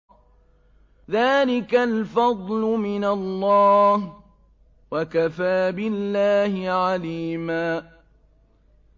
ذَٰلِكَ الْفَضْلُ مِنَ اللَّهِ ۚ وَكَفَىٰ بِاللَّهِ عَلِيمًا